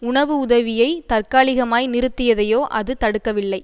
உணவு உதவியை தற்காலிகமாய் நிறுத்தியதையோ அது தடுக்கவில்லை